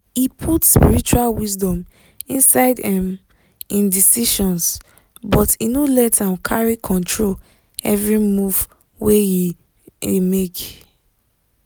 e put spiritual wisdom inside um im decisions but e no let am carry control every move wey um e make.